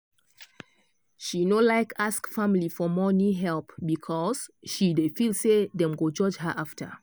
she no like ask family for money help because she dey feel say dem go judge her after.